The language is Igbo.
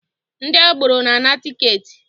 Ndị agboro na-ana tiketi